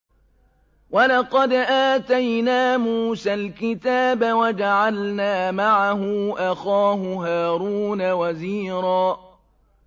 وَلَقَدْ آتَيْنَا مُوسَى الْكِتَابَ وَجَعَلْنَا مَعَهُ أَخَاهُ هَارُونَ وَزِيرًا